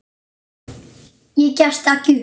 Ég gefst upp.